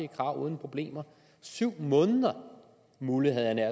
krav uden problemer syv måneder mulle havde jeg nær